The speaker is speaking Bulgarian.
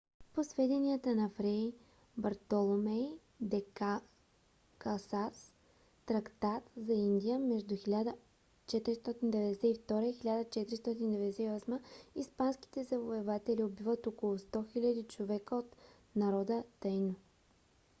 по сведенията на фрей бартоломей де лас касас трактат за индия между 1492 и 1498 г. испанските завоеватели убиват около 100 000 човека от народа таино